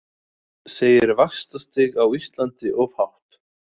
Segir vaxtastig á Íslandi of hátt